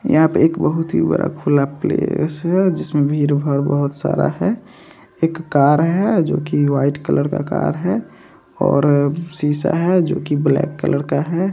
यहाँ पर बहुत ही बड़ा खुला प्लेस है जिसमें भीड़-भाड़ बहुत सारा है एक कार है जो वाइट कलर का है और शीशा है जो ब्लैक कलर का है।